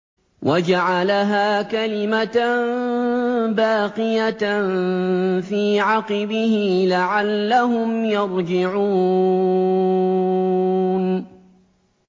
وَجَعَلَهَا كَلِمَةً بَاقِيَةً فِي عَقِبِهِ لَعَلَّهُمْ يَرْجِعُونَ